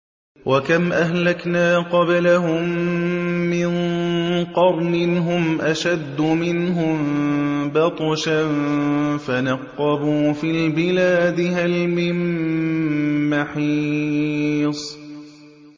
وَكَمْ أَهْلَكْنَا قَبْلَهُم مِّن قَرْنٍ هُمْ أَشَدُّ مِنْهُم بَطْشًا فَنَقَّبُوا فِي الْبِلَادِ هَلْ مِن مَّحِيصٍ